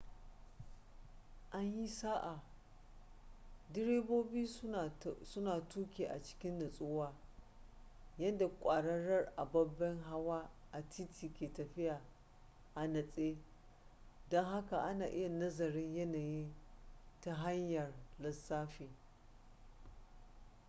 an yi sa'a direbobi su na tuki a cikin nutsuwa yadda kwararar ababen hawa a titi ke tafiya a natse don haka ana iya nazarin yanayin ta hanyar lissafi